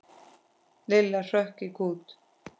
Lilla hrökk í kút.